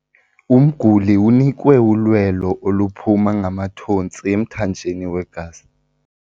Umguli unikwe ulwelo oluphuma ngamathontsi emthanjeni wegazi.